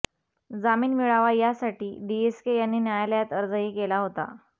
जामीन मिळावा यासाठी डीएसके यांनी न्यायालयात अर्जही केला होता